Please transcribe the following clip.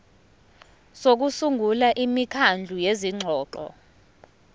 sokusungula imikhandlu yezingxoxo